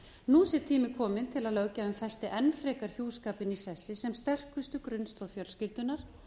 nú sé tími kominn til að löggjafinn festi enn frekar hjúskapinn í sessi sem sterkustu grunnstoð fjölskyldunnar